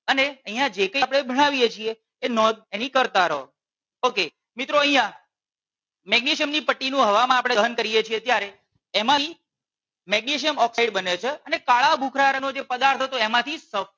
અને અહિયાં જે કઈ આપણે ભણાવીએ છીએ એ નોંધ એની કરતાં રહો okay મિત્રો અહિયાં મેગ્નેશિયમ ની પટ્ટી નું હવામાં આપણે દહન કરીએ છીએ ત્યારે એમાંથી મેગ્નેશિયમ ઓક્સાઇડ બને છે અને કાળા ભૂખરા રંગ નો જે પદાર્થ હતો એમાંથી.